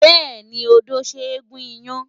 Bẹ́ẹ̀ni, odó ṣe é gún iyán.